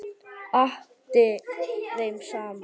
Atti þeim saman.